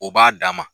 O b'a dan ma